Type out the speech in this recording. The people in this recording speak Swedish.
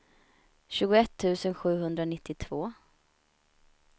tjugoett tusen sjuhundranittiotvå